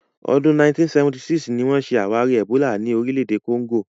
Ọdún 1976 ni wọ́n ṣe àwárí ẹ̀bólà ní orílẹ̀-èdè Congo.